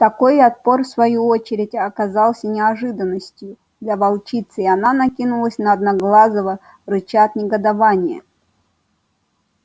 такой отпор в свою очередь оказался неожиданностью для волчицы и она накинулась на одноглазого рыча от негодования